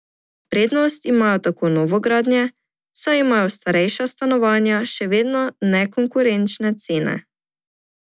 Prednost imajo tako novogradnje, saj imajo starejša stanovanja še vedno nekonkurenčne cene.